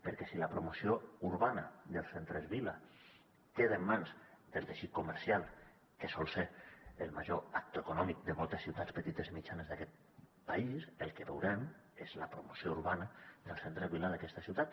perquè si la promoció urbana dels centres vila queda en mans del teixit comercial que sol ser el major actor econòmic de moltes ciutats petites i mitjanes d’aquest país el que veurem és la promoció urbana del centre vila d’aquesta ciutat